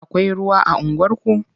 Akwai ruwa a unguwarku?